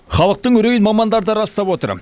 халықтың үрейін мамандар да растап отыр